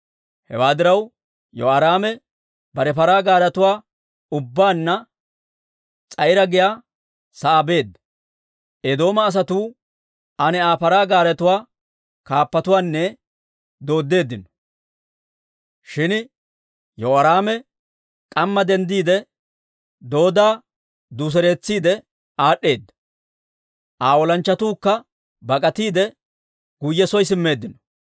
Hewaa diraw, Yehoraame bare paraa gaaretuwaa ubbaanna S'a'iira giyaa sa'aa beedda. Eedooma asatuu aane Aa paraa gaaretuwaa kaappatuwaanne dooddeeddino; shin Yehoraame k'amma denddiide, doodda duuseretsiide aad'd'eedda. Aa olanchchatuukka bak'atiide, guyye soo simmeeddino.